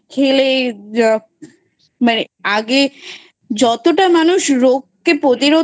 খেলে মানে আগে যতটা মানুষ রোগকে প্রতিরোধ